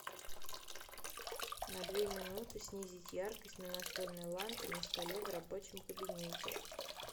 на две минуты снизить яркость на настольной лампе на столе в рабочем кабинете